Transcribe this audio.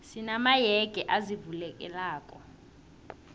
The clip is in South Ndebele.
sina mayege azivulekelako